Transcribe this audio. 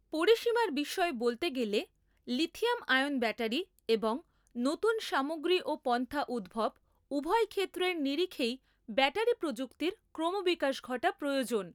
পরিসীমার বিষয়ে বলতে গেলে, লিথিয়াম আয়ন ব্যাটারি এবং নতুন সামগ্রী ও পন্থা উদ্ভব উভয় ক্ষেত্রের নিরিখেই ব্যাটারি প্রযুক্তির ক্রমবিকাশ ঘটা প্রয়োজন।